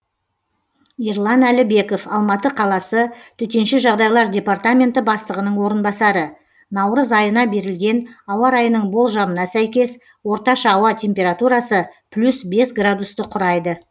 ерлан әлібеков алматы қаласы төтенше жағдайлар департаменті бастығының орынбасары наурыз айына берілген ауа райының болжамына сәйкес орташа ауа температурасы плюс бес градусты құрайды